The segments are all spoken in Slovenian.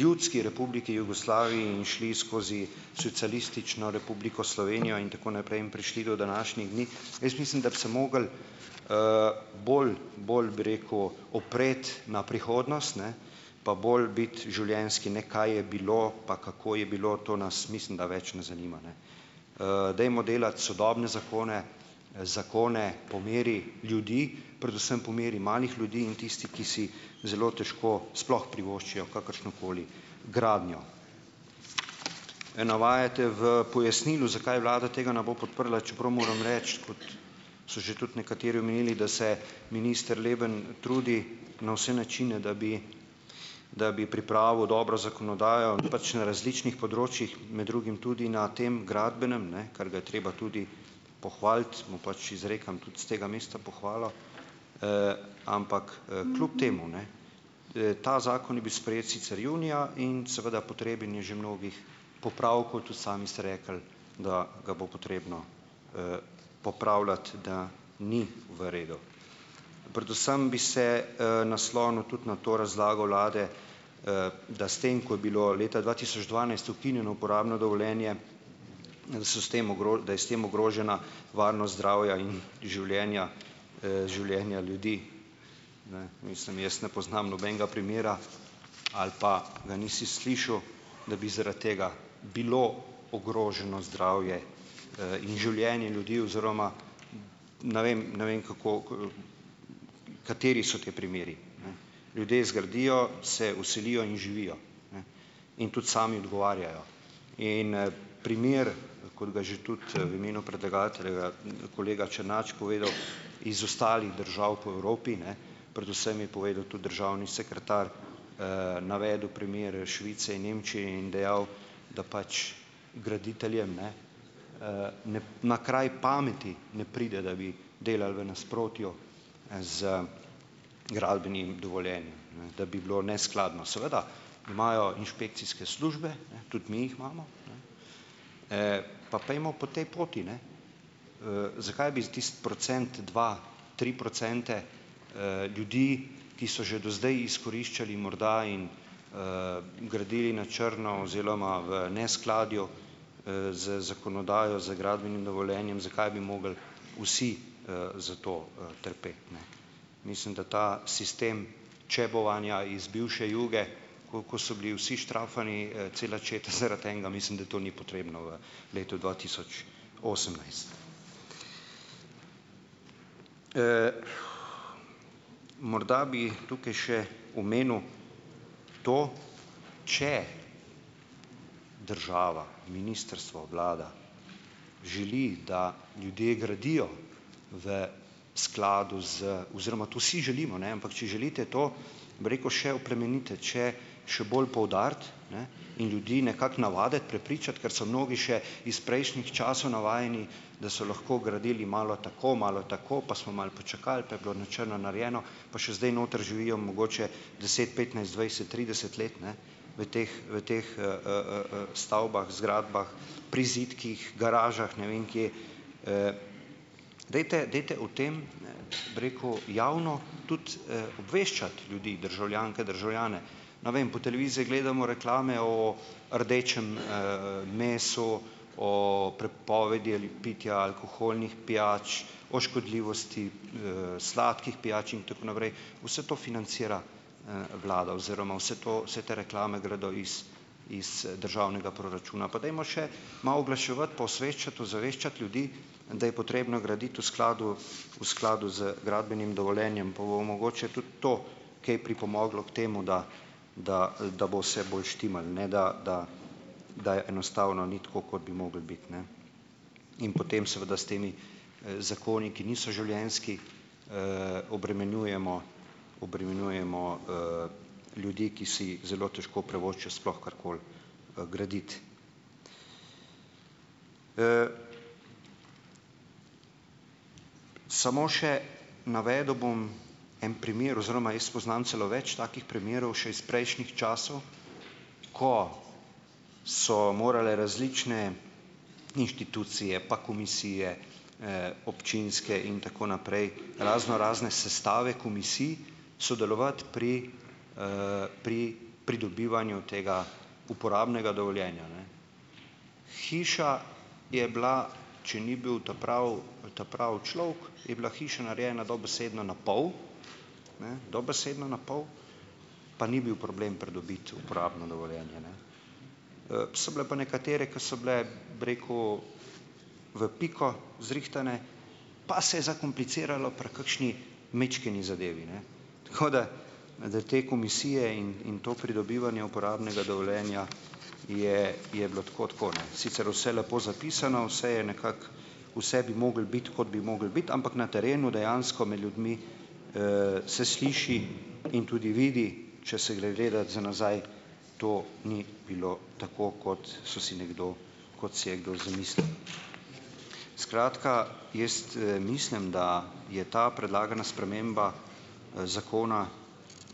ljudski Republiki Jugoslaviji in šli skozi Socialistično republiko Slovenijo in tako naprej in prišli do današnjih dni. Jaz mislim, da bi se morali bolj bolj bi rekel opreti na prihodnost, ne, pa bolj biti življenjski, ne kaj je bilo pa kako je bilo, to nas mislim, da več ne zanima. Dajmo delati sodobne zakone, zakone po meri ljudi, predvsem po meri malih ljudi in tisti, ki si zelo težko sploh privoščijo kakršnokoli gradnjo. Ne navajate v pojasnilu, zakaj vlada tega ne bo podprla, čeprav moram reči, so že tudi nekateri omenili, da se minister Leben trudi na vse načine, da bi da bi pripravil dobro zakonodajo pač na različnih področjih, med drugim tudi na tem gradbenem, ne, kar ga je treba tudi pohvaliti. Mu pač izrekam tudi s tega mesta pohvalo, ampak kljub temu, ne, ta zakon je bil sprejet sicer junija in seveda, potreben je že mnogih popravkov, tudi sami ste rekli, da ga bo potrebno popravljati, da ni v redu. Predvsem bi se naslonil tudi na to razlago vlade, da s tem, ko je bilo leta dva tisoč dvanajst ukinjeno uporabno dovoljenje, da so s tem da je s tem ogrožena varnost zdravja in življenja življenja ljudi, ne. Mislim, jaz ne poznam nobenega primera, ali pa ga nisi slišal, da bi zaradi tega bilo ogroženo zdravje in življenje ljudi oziroma ne vem, ne vem, kako kateri so ti primeri. Ljudje zgradijo, se vselijo in živijo. In tudi sami odgovarjajo. In primer, kot ga že tudi v imenu predlagatelja kolega Černač povedal iz ostalih držav po Evropi ne, predvsem je povedal tudi državni sekretar, navedel primer Švice in Nemčije in dejal, da pač graditeljem ne ne na kraj pameti ne pride, da bi delali v nasprotju z gradbenim dovoljenjem, ne, da bi bilo neskladno. Seveda imajo inšpekcijske službe, ne, tudi mi jih imamo, pa pojdimo po tej poti, ne. Zakaj bi tisti procent, dva, tri procente ljudi, ki so že do zdaj izkoriščali morda in gradili na črno oziroma v neskladju z zakonodajo, z gradbenim dovoljenjem, zakaj bi morali vsi zato trpeti. Mislim, da ta sistem čebovanja iz bivše Juge, ko ko so bili vsi štrajfani, cela četa zaradi enega, mislim, da to ni potrebno v letu dva tisoč osemnajst. Morda bi tukaj še omenil to, če država, ministrstvo, vlada želi, da ljudje gradijo v skladu z oziroma, to si želimo, ne, ampak če želite to, bi rekel, še oplemenititi, še še bolj poudariti in ljudi nekako navaditi, prepričati, ker so mnogi še iz prejšnjih časov navajeni, da so lahko gradili malo tako, malo tako, pa smo malo počakali, pa je bilo na črno narejeno, pa še zdaj noter živijo mogoče deset, petnajst, dvajset, trideset let, ne, v teh v teh stavbah, zgradbah, prizidkih, garažah, ne vem kje, dajte, dajte o tem, bi rekel, javno tudi obveščati ljudi, državljanke, državljane. Na vem, po televiziji gledamo reklame oo rdečem meso, o prepovedi ali pitja alkoholnih pijač, o škodljivosti sladkih pijač in tako naprej. Vse to financira vlada oziroma vse to vse te reklame gredo iz iz državnega proračuna. Pa dajmo še malo oglaševati pa osveščati, ozaveščati ljudi, da je potrebno graditi v skladu v skladu z gradbenim dovoljenjem, pa bo mogoče tudi to kaj pripomoglo k temu, da da da bo vse bolj štimalo ne, da da da je enostavno ni tako, kot bi moglo biti, ne. In potem seveda s temi zakoni, ki niso življenjski, obremenjujemo obremenjujemo ljudi, ki si zelo težko privoščijo sploh karkoli graditi. Samo še navedel bom en primer oziroma jaz poznam celo več takih primerov še iz prejšnjih časov, ko so morale različne inštitucije, pa komisije občinske in tako naprej, raznorazne sestave komisij sodelovati pri pri pridobivanju tega uporabnega dovoljenja. Hiša je bila, če ni bil ta pravi ta pravi človek, je bila hiša narejena dobesedno na pol, ne dobesedno na pol pa ni bil problem pridobiti uporabno dovoljenje. So bile pa nekatere, ko so bile, bi rekel, v piko zrihtane, pa se je zakompliciralo pri kakšni majčkeni zadevi, ne. Da te komisije in to pridobivanje uporabnega dovoljenja je je bilo tako tako, ne, sicer vse lepo zapisano, vse je nekako, vse bi moralo biti, kot bi moralo biti, ampak na terenu dejansko med ljudmi se sliši in tudi vidi, če se gre gledat za nazaj, to ni bilo tako, kot so si nekdo, kot si je kdo zamislil. Skratka, jaz mislim, da je ta predlagana sprememba zakona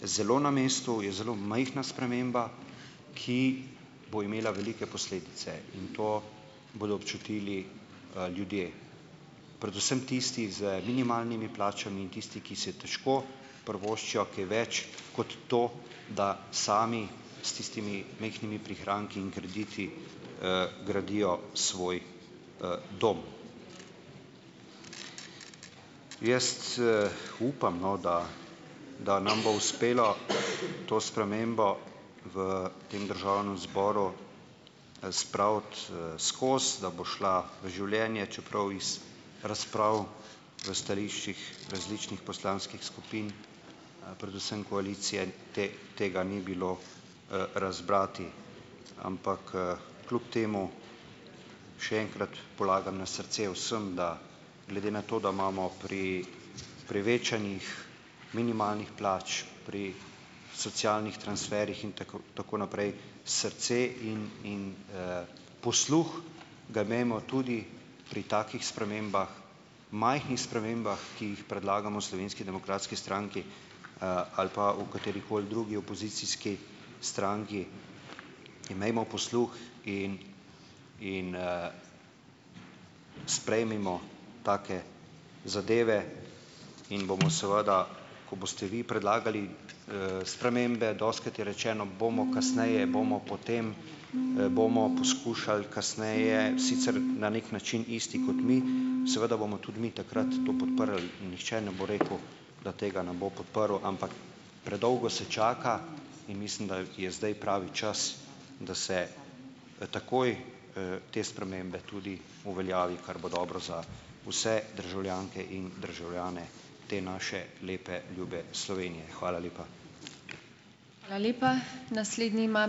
zelo na mestu, je zelo majhna sprememba, ki bo imela velike posledice, in to bodo občutili ljudje, predvsem tisti z minimalnimi plačami in tisti, ki si težko privoščijo kaj več kot to, da sami s tistimi majhnimi prihranki in krediti gradijo svoj dom. Jaz upam, no, da da nam bo uspelo to spremembo v tem državnem zboru spraviti skozi, da bo šla v življenje, čeprav iz razprav v stališčih različnih poslanskih skupin, predvsem koalicije, tega ni bilo razbrati. Ampak kljub temu, še enkrat polagam na srce vsem, da glede na to, da imamo pri prevečanjih minimalnih plač, pri socialnih transferjih in tako tako naprej srce in in posluh, ga imejmo tudi pri takih spremembah, majhnih spremembah, ki jih predlagamo Slovenski demokratski stranki, ali pa v katerikoli drugi opozicijski stranki, imejmo posluh in in sprejmimo take zadeve in bomo seveda , ko boste vi predlagali spremembe, dostikrat je rečeno, bomo kasneje, bomo potem, bomo poskušali kasneje, sicer na neki način isti kot mi, seveda bomo tudi mi takrat to podprli in nihče ne bo rekel, da tega ne bo podprl. Ampak predolgo se čaka in mislim, da je zdaj pravi čas, da se takoj te spremembe tudi uveljavi, kar bo dobro za vse državljanke in državljane te naše lepe, ljube Slovenije. Hvala lepa.